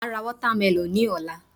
Màá ra watermelon ní òla